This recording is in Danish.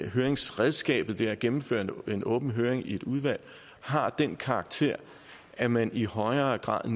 høringsredskabet det at gennemføre en åben høring i et udvalg har den karakter at man i højere grad